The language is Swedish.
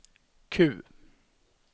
Q